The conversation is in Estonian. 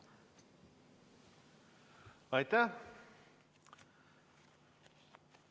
Aitäh!